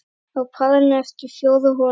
Á parinu eftir fjórar holur.